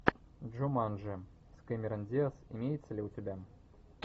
джуманджи с кэмерон диаз имеется ли у тебя